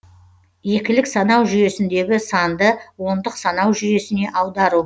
екілік санау жүйесіндегі санды ондық санау жүйесіне аудару